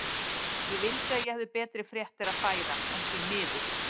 Ég vildi að ég hefði betri fréttir að færa, en því miður.